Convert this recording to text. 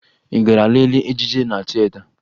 Ị gara lelee ejije na tieta?